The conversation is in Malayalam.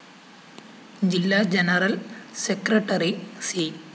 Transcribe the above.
ജില്ലാ ജനറൽ സെക്രട്ടറി സി